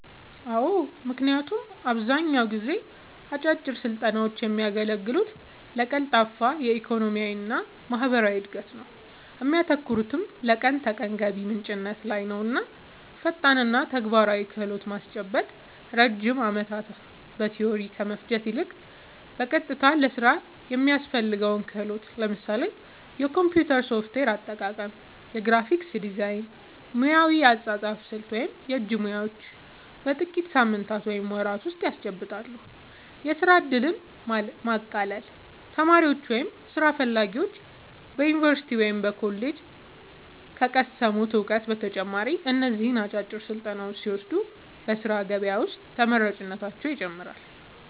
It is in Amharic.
አዎ ምክንያቱም አብዛኛውን ጊዜ አጫጭር ስልጠናውች የሚያገለግሉት ለቀልጣፋ የኢኮኖሚና ማህበራዊ እድገት ነው እሚያተኩሩትም ለቀን ተቀን ገቢ ምንጭነት ላይ ነውፈጣንና ተግባራዊ ክህሎት ማስጨበጥ ረጅም ዓመታት በቲዎሪ ከመፍጀት ይልቅ፣ በቀጥታ ለሥራ የሚያስፈልገውን ክህሎት (ለምሳሌ የኮምፒውተር ሶፍትዌር አጠቃቀም፣ የግራፊክስ ዲዛይን፣ ሙያዊ የአጻጻፍ ስልት ወይም የእጅ ሙያዎች) በጥቂት ሳምንታት ወይም ወራት ውስጥ ያስጨብጣሉ። የሥራ ዕድልን ማቃለል : ተማሪዎች ወይም ሥራ ፈላጊዎች በዩኒቨርሲቲ ወይም በኮሌጅ ከቀሰሙት እውቀት በተጨማሪ እነዚህን አጫጭር ስልጠናዎች ሲወስዱ በሥራ ገበያ ውስጥ ተመራጭነታቸውን ይጨምረዋል።